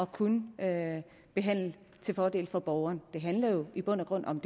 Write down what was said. kun at handle til fordel for borgeren det her handler jo i bund og grund om